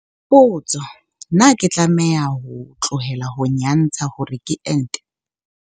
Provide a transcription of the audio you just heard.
Potso- Na ke tlameha ho tlohela ho nyantsha hore ke ente?